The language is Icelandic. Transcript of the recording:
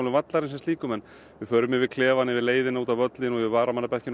vallarins sem slíkum við förum yfir klefann yfir leiðina út á völlinn og varamannabekkinn